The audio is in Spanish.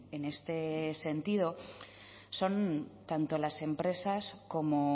en este sentido son tanto las empresas como